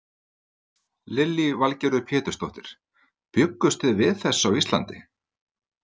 Lillý Valgerður Pétursdóttir: Bjuggust þið við þessu á Íslandi?